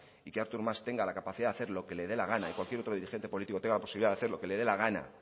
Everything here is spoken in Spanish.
y que artur mas tenga la capacidad de hacer lo que le dé la gana y cualquier otro dirigente político tenga posibilidad de hacer lo que le dé la gana